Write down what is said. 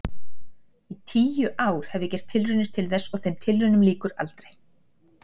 Í tíu ár hef ég gert tilraunir til þess og þeim tilraunum lýkur aldrei.